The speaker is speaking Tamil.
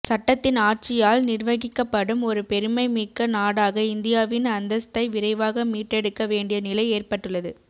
சட்டத்தின் ஆட்சியால் நிர்வகிக்கப்படும் ஒரு பெருமைமிக்க நாடாக இந்தியாவின் அந்தஸ்தை விரைவாக மீட்டெடுக்க வேண்டிய நிலை ஏற்பட்டுள்ளது